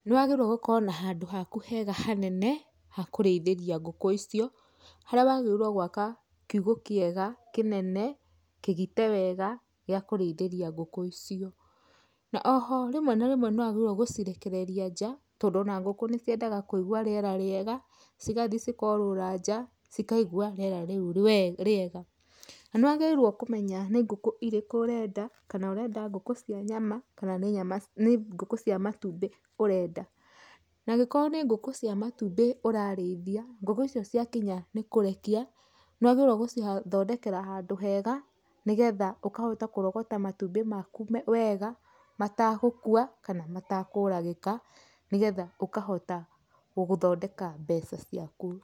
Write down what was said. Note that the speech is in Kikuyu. Nĩ wagĩrĩirwo ũkorwo na handũ haku hega hanene ha kũrĩithĩria ngũkũ icio harĩa wagĩrĩirwo gwaka kiugo kĩega kĩnene kĩgite wega gĩa kũrĩithĩria ngũkũ icio. Na oho rĩmwe na rĩmwe nĩ wagĩrĩirwo gũcirekereria nja tondũ ona ngũkũ nĩ ciendaga kũigwa rĩera rĩega cigathi cikorũra nja cikaigwa rĩera rĩu rĩ rĩega. Nĩ wagĩrĩirwo kũmenya nĩ ngũkũ irĩkũ ũrenda kana ũrenda ngũkũ cia nyama kana nĩ nyama nĩ ngũkũ cia matumbĩ ũrenda. Na angĩkorwo nĩ ngũkũ cia matumbĩ ũrarĩithia, ngũkũ icio ciakinya nĩ kũrekia nĩ wagĩrĩirwo gũcithondekera handũ hega nĩ getha ũkahota kũrogota matumbĩ maku wega matagũkua kana matakũragĩka nĩ getha ũkahota gũgũthondeka mbeca ciaku.